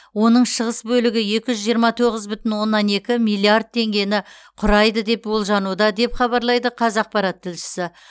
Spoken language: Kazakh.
оның шығыс бөлігі екі жүз жиырма тоғыз бүтін оннан екі миллиард теңгені құрайды деп болжануда деп хабарлайды қазақпарат тілшісі